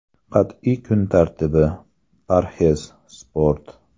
Qat’iy kun tartibi, parhez, sport.